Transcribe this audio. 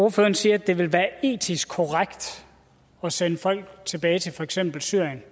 ordføreren siger at det vil være etisk korrekt at sende folk tilbage til for eksempel syrien